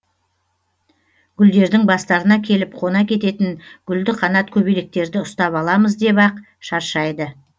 гүлдердің бастарына келіп қона кететін гүлді қанат көбелектерді ұстап аламыз деп ақ шаршайды